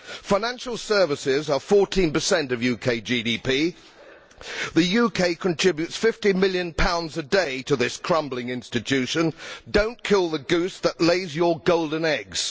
Financial services account for 14 of UK GDP, and the UK contributes GBP 50 million pounds a day to this crumbling institution. Do not kill the goose that lays your golden eggs!